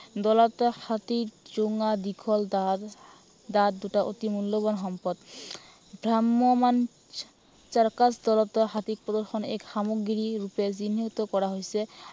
দঁতাল হাতীৰ জোঙা দীঘল দাঁত, দাঁত দুটা অতি মূল্য়ৱান সম্পদ। ভ্ৰাম্য়মান চাৰ্কাছ দলতো হাতী প্ৰদৰ্শন এক সামগ্ৰী ৰুপে চিহ্নিত কৰা হৈছে।